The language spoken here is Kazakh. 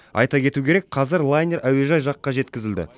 айта кету керек қазір лайнер әуежай жаққа жеткізілді